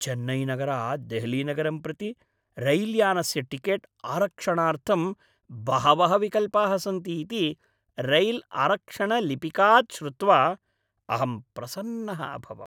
चेन्नैनगरात् देहलीनगरं प्रति रैल्यानस्य टिकेट् आरक्षणार्थं बहवः विकल्पाः सन्ति इति रैल्आरक्षणलिपिकात् श्रुत्वा अहं प्रसन्नः अभवम्।